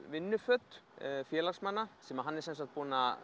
vinnuföt félagsmanna sem hann er búinn að